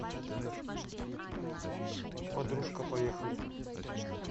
подружка поехали